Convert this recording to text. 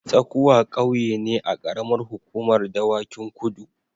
Tsakuwa ƙauye ne a ƙaramar hukumar Dawakin Kudu.